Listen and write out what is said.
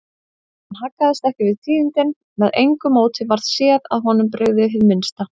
Hann haggaðist ekki við tíðindin, með engu móti varð séð að honum brygði hið minnsta.